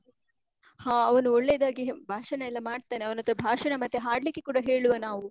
ಹಾ ಅವನು ಒಳ್ಳೇದಾಗಿ ಭಾಷಣ ಎಲ್ಲ ಮಾಡ್ತಾನೆ. ಅವನ್ಹತ್ರ ಭಾಷಣ ಮತ್ತೇ ಹಾಡ್ಲಿಕ್ಕೆ ಕೂಡ ಹೇಳುವ ನಾವು.